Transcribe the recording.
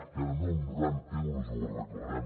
i ara no amb noranta euros ho arreglarem